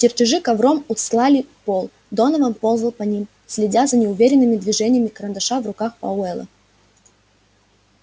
чертежи ковром устлали пол донован ползал по ним следя за неуверенными движениями карандаша в руках пауэлла